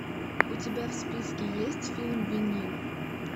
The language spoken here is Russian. у тебя в списке есть фильм винил